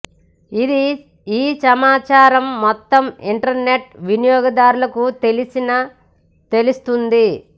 ఇది ఈ సమాచారం మొత్తం ఇంటర్నెట్ వినియోగదారులకు తెలిసిన తెలుస్తోంది